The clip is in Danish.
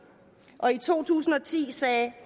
og i to tusind og ti sagde